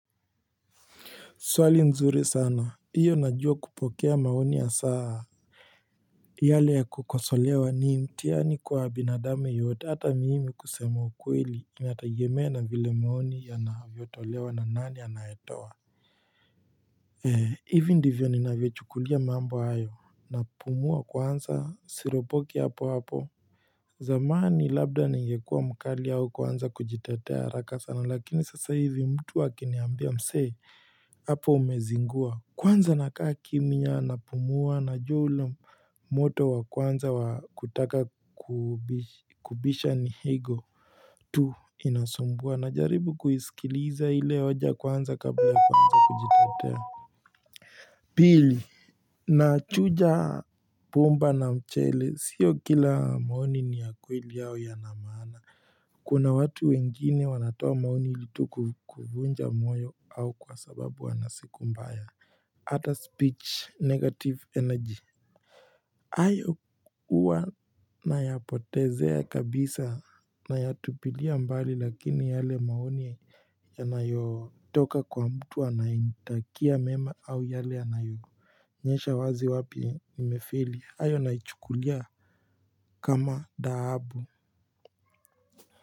Swali nzuri sana iyo najua kupokea maoni ya saa yale ya kukosolewa nii mtihani kwa binadamu yeyote hata mimi kusema ukweli inatagemea na vile maoni yanavyotolewa na nani anayetowa. Ee hivi ndivyo ninavyochukulia mambo hayo napumua kwanza siropoki hapo hapo. Zamani labda ningekua mkali au kuanza kujitetea haraka sana. Lakini sasa hivi mtu akiniambia mse. Apo umezingua. Kwanza nakaa kimya napumua najua ule moto wa kwanza wa kutaka kubisha ni ego tu inasumbua najaribu kuiskiliza ile hoja kwanza kabla kuanza kujitetea. Pili nachuja bomba na mchele. Sio kila maoni ni ya kweli au yana maana. Kuna watu wengine wanatoa maoni ili tu ku kuvunja moyo au kwa sababu wana siku mbaya. Hata speech negative energy. Hayo huwa nayapotezea kabisa nayatupilia mbali lakini yale maoni yanayotoka kwa mtu anayenitakia mema au yale yanayoonyesha wazi wapi imefeli ayo naichukulia kama dhahabu.